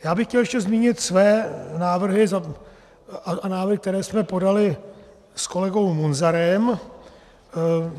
Já bych chtěl ještě zmínit své návrhy a návrhy, které jsme podali s kolegou Munzarem.